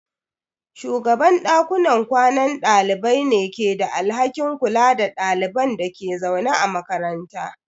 Shugaban dakunan kwanan dalibai ne ke da alhakin kula da ɗaliban da ke zaune a makaranta.